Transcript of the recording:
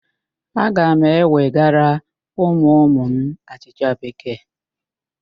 Aga m ewegara ụmụụmụ m achịcha Bekee